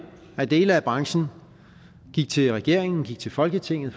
at dele af branchen gik til regeringen gik til folketinget